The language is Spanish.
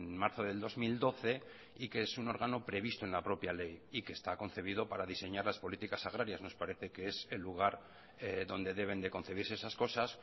marzo del dos mil doce y que es un órgano previsto en la propia ley y que está concebido para diseñar las políticas agrarias nos parece que es el lugar donde deben de concebirse esas cosas